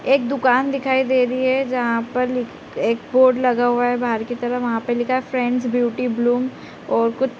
एक दुकान दिखाई दे रही है जहाँ पर ली एक बोर्ड लगा हुआ है बाहर की तरफ वहाँ पे लिखा है फ्रेंड्स ब्यूटी ब्लूम और कुछ --